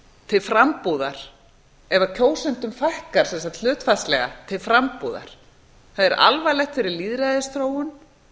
til frambúðar ef kjósendum fækkar hlutfallslega til frambúðar það er alvarlegt fyrir lýðræðisþróun